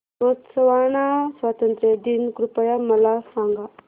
Botswana स्वातंत्र्य दिन कृपया मला सांगा